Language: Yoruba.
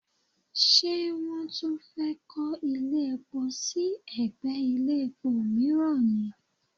Ṣé wọ́n tún fẹ́ kọ́ ilé epo sí ẹ̀gbẹ́ ilé epo mìíràn ni?